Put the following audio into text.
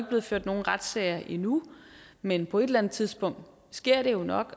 blevet ført nogen retssager endnu men på et eller andet tidspunkt sker det jo nok